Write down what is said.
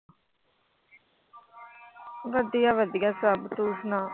ਵਧੀਆ ਵਧੀਆ ਸਭ ਤੂੰ ਸੁਣਾ।